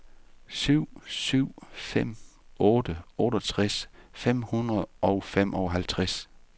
syv syv fem otte otteogtres fem hundrede og femoghalvtreds